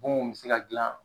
Bonw bi se ka dilan